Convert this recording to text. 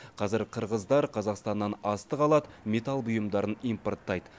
қазір қырғыздар қазақстаннан астық алады металл бұйымдарын импорттайды